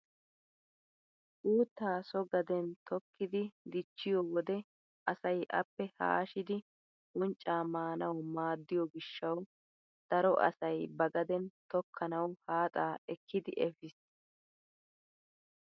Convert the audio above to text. Uuttaa so gaden tokkidi dichchiyoo wode asay appe haashshidi unccaa maanawu maaddiyoo gishshawu daro asay ba gaden tokkanawu haaxaa ekkidi efiis.